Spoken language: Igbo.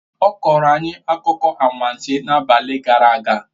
Ọ kọrọ anyị akụkọ anwansi n'abalị gara aga